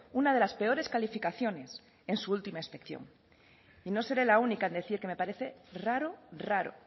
una de las peores calificaciones en su última inspección y no seré la única en decir que me parece raro raro